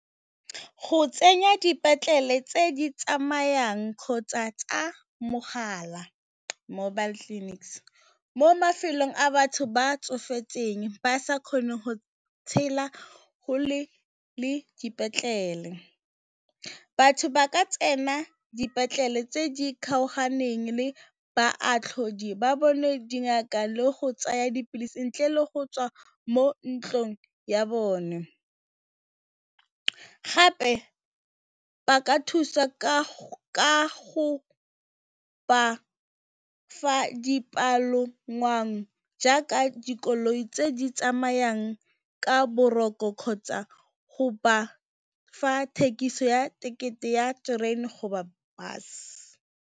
Go tsenya dipetlele tse di tsamayang kgotsa tsa mogala, mobile clinics mo mafelong a batho ba tsofetseng ba sa kgoneng go tshela kgakala le dipetlele, batho ba ka tsena dipetlele tse di kgaoganeng le baatlhodi ba bone dingaka le go tsaya dipilisi ntle le go tswa mo ntlong ya bone. Gape ba ka thusa ka go ba fa dipalangwang ja ka dikoloi tse di tsamayang ka boroko kgotsa go ba fa thekiso ya tekete ya terene kgotsa bese.